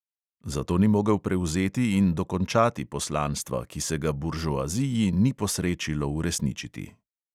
Zato ni mogel prevzeti in dokončati poslanstva, ki se ga buržoaziji ni posrečilo uresničiti.